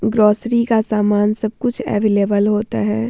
Grocery का सामान सब कुछ अवेलेबल होता है।